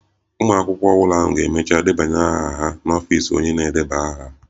Ụmụ akwụkwọ ọhụrụ ahụ ga-emecha ndebanye aha ha n'ọfịs onye na-edeba aha